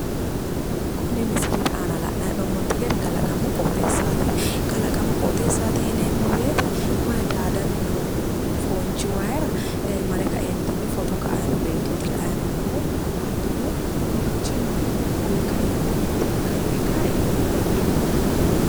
kuni misilete aana la'nanni hee'noommonte gede kalaqamu qooxeessaati kalaqamu qooxeessaati yineemmo woyite koye daadanni noo foonchi wayira ee mare kaeentinni foto ka''annni noo beettooti la''anni noommahu hattono kowiichinni uwe kaentinni mitte ikka yee kae dadilloomma.